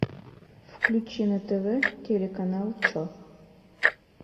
включи на тв телеканал че